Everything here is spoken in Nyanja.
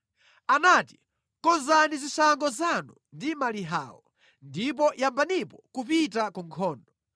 anati, “Konzani zishango zanu ndi malihawo, ndipo yambanipo kupita ku nkhondo!